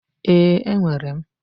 Ee, enwere m,